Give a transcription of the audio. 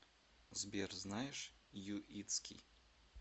сбер знаешь юитский